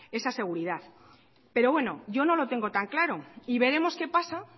esa seguridad pero bueno yo no lo tengo tan claro y veremos qué pasa